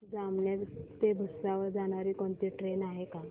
जामनेर ते भुसावळ जाणारी कोणती ट्रेन आहे का